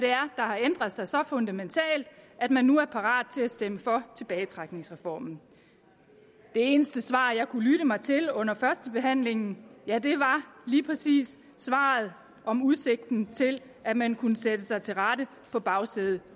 der har ændret sig så fundamentalt at man nu er parat til at stemme for tilbagetrækningsreformen det eneste svar jeg har kunnet lytte mig til under førstebehandlingen var lige præcis svaret om udsigten til at man kunne sætte sig til rette på bagsædet